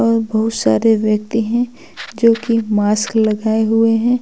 और बहुत सारे व्यक्ति है जोकि मास्क लगाए हुए हैं।